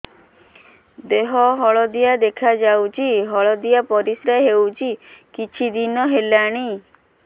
ଦେହ ହଳଦିଆ ଦେଖାଯାଉଛି ହଳଦିଆ ପରିଶ୍ରା ହେଉଛି କିଛିଦିନ ହେଲାଣି